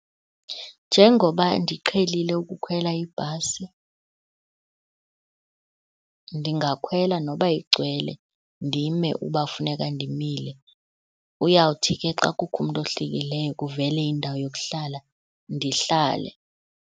Njengoba ndiqhelile ukukhwela ibhasi ndingakhwela noba igcwele, ndime uba kufuneka ndimile. Uyawuthi ke xa kukho umntu ohlikileyo kuvele indawo yokuhlala ndihlale.